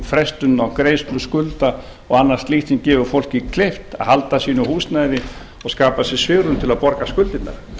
frestunum á greiðslu skulda og annað slíkt sem gerir fólki kleift að halda sínu húsnæði og skapa sér svigrúm til að borga skuldirnar